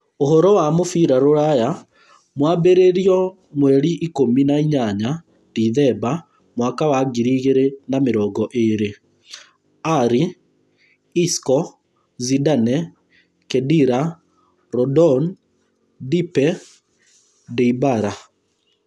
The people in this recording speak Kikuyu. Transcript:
Ũhoro wa mũbira rũraya mwambĩrĩrio mweri ikũmi na inya dithemba mwaka wa ngiri igĩrĩ na mĩrongo ĩĩrĩ: Alli, isco, Zidane, Khedira, Rondon, Depay, Dybala,